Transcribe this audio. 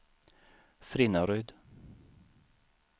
Frinnaryd